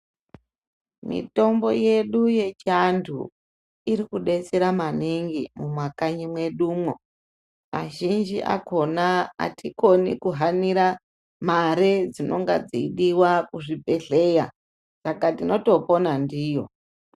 Mitombo yedu yechiantu irikutidetsera maningi mumakanyi mwedu umo vazhinji akhona tikoni kuhanira mare dzinonga dzeidiwa kuzvibhedhleya saka tinotopona ndiyo.